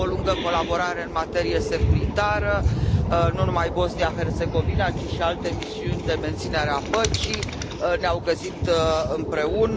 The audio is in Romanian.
Avem o lungă colaborare în materie securitară, nu numai Bosnia Herțegovina, ci și alte misiuni de menținere a păcii ne au găsit împreună.